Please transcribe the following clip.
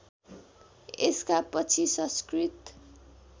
यसका पछि संस्कृत